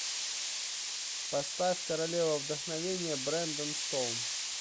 поставь королева вдохновения брэндон стоун